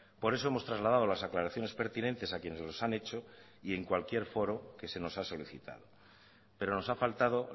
por eso hemos trasladado las aclaraciones pertinentes a quienes los han hecho y en cualquier foro que se nos han solicitado pero nos ha faltado